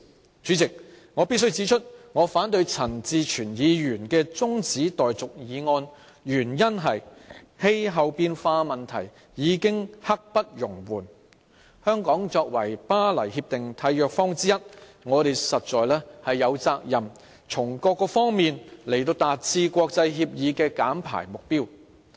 代理主席，我必須指出，我反對陳志全議員提出中止待續議案的原因，是氣候變化問題已經刻不容緩，香港作為《巴黎協定》的締約方之一，實在有責任從各方面達致這項國際協議的減排目標。